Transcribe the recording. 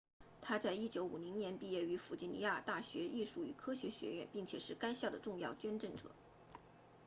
他在1950年毕业于弗吉尼亚大学艺术与科学学院并且是该校的重要捐赠者